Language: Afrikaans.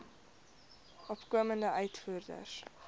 opkomende uitvoerders